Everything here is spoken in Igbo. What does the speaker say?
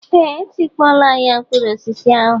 Ee, etikpọọla ahịa mkpụrụ osisi ahụ